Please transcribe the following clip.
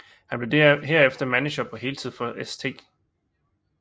Han blev herefter manager på heltid for St